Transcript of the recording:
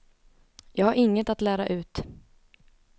Jag har inget att lära ut.